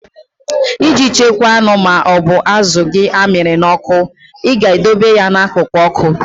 Iji chekwaa anụ ma ọ bụ azụ gị amịrị n'ọkụ, I ga-edobe ya n'akụkụ ọkụ.